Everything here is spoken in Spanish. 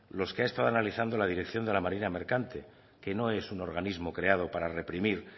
los que ha estado analizando la dirección de la marina mercante que no es un organismo creado para reprimir